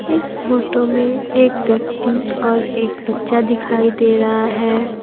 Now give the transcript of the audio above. इस फोटो में एक व्यक्ति और एक बच्चा दिखाई दे रहा है।